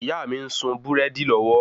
ìyá mi ń sun búrẹ́dì lọ́wọ́